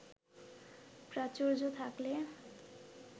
প্রাচুর্য থাকলে